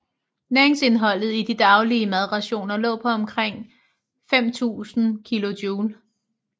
Næringsindholdet i de daglige madrationer lå på omkring 5000 kilojule